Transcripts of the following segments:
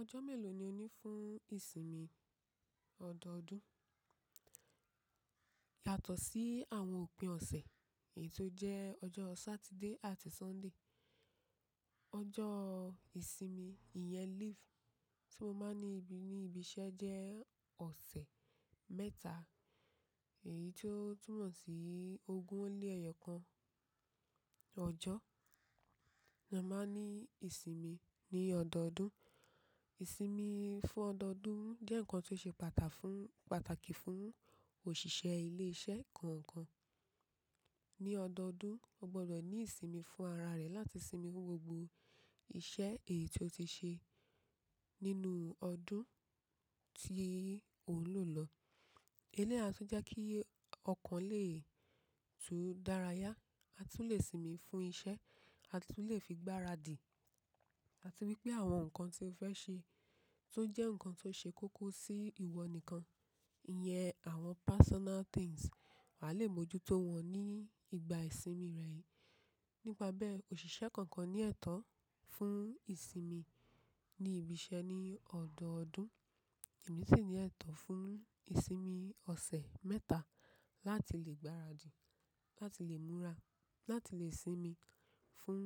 Ọjọ́ mélòó ni ó ní fún ìsinmi ọdọọdún? Yàtọ̀ sí àwọn òpin ọ̀sẹ̀ èyí tó jẹ́ ọjọ́ Saturday àti Sunday. Ọjọ́ ìsinmi ìyẹn leave tí mo máa ní ní ibi iṣẹ́ jẹ́ ọ̀sẹ̀ mẹ́ta èyí tó túmọ̀ sí ogún ó lé ẹyọ kan ọjọ́ la máa ń ní ìsinmi ní ọdọọdún. Ìsinmi fún ọdọọdún jẹ́ nǹkan tó ṣe pata fun pàtàkì fún òṣìṣẹ́ ilé iṣẹ́ kọ̀ọ̀kan. Ní ọdọọdún, o gbọdọ̀ ní ìsinmi fún ara rẹ láti sinmi gbogbo iṣẹ́ èyí tó ti ṣe nínú ọdún tí òún lò lọ. Ilé a tún jẹ́ kí ọkàn lè tún dára yá. A tún le sinmi fún iṣẹ́, a tún le fi gbaradì àti wípé àwọn ǹkan tí o fẹ́ ṣe tó jẹ́ ǹkan tó ṣe kókó sí ìwọ nìkan. Ìyẹn àwọn personal things wà le bojútó wọn ní ìgbà ìsinmi rẹ yìí. Nípabe òṣìṣẹ́ kọ̀ọ̀kan ní ẹ̀tọ́ fún ìsinmi ní ibi iṣẹ́ ní ọdọọdún èyí sì ní ẹ̀tọ́ fún ìsinmi ọ̀sẹ̀ mẹ́ta láti lè gbaradì, láti lè múra, láti lè sinmi fún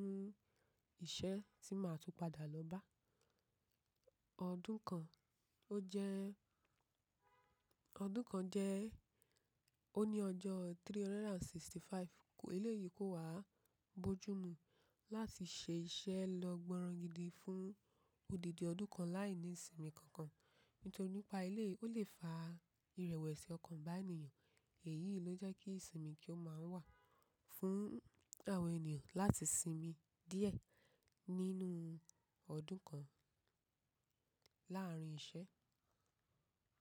iṣẹ́ tí màá tún padà lọ bá. Ọdún kan ó jẹ́, ọdún kan jẹ́ ó ní ọjọ́ ọ̀ọ́dúnrún ó lé ọgọ́ta ó lé àrún. Eléyìí kó wa bojú mu láti ṣe iṣẹ́ lọ gbọ̀nràn gidi fún odidi ọdún kan láìní ìsinmi kankan. Nítorí nípa eléyìí ó lè fa ìrẹ̀wẹ̀sẹ̀ ọkàn bá ènìyàn. Èyí ló jẹ́ kí ìsinmi kí ó máa ń wà fún àwọn ènìyàn láti sinmi díẹ̀ nínú ọdún kan láàárín iṣẹ́.